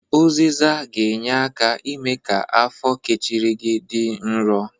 Ụzịza ga-enye aka ime ka afọ kechiri gi dị nrọ.